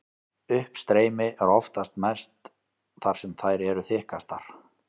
Uppstreymi er oftast mest þar sem þær eru þykkastar.